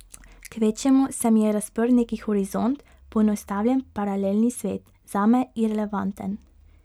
Kvečjemu se mi je razprl neki horizont, poenostavljen paralelni svet, zame irelevanten.